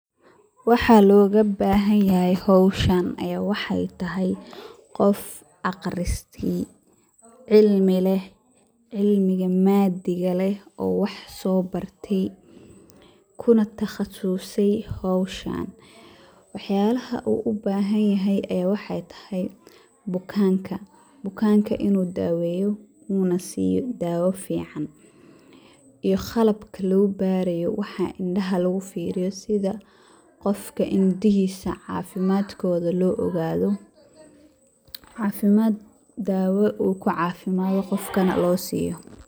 Waxaa looga bahan yahay howshan ayaa waxaay tahay, qof aqristay, cilmi leh, cilmiga maadiga leh oo wax soo barte, kuna taqasuse howshan, wax yaabaha uu ubahan yahay ayeey waxaay tahay, bukanka inuu daaweyo, uuna siiyo daawo fican, iyo qalabka lagu baraayo, wax indaha lagu fiiriyo sida qofka indihiisa cafimaadkooda loo ogaado, daawo uu kucaafimado qofkana loo siiyo.